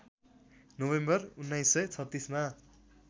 November १९३६ मा